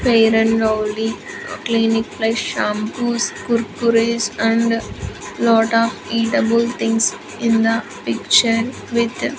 fair and lovely clinic plus shampoos kurkures and lot of eatable things in the picture with --